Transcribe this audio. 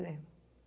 Lembro.